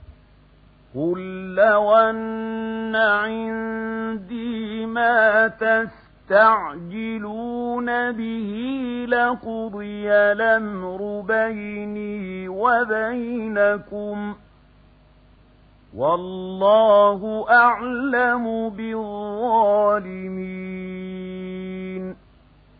قُل لَّوْ أَنَّ عِندِي مَا تَسْتَعْجِلُونَ بِهِ لَقُضِيَ الْأَمْرُ بَيْنِي وَبَيْنَكُمْ ۗ وَاللَّهُ أَعْلَمُ بِالظَّالِمِينَ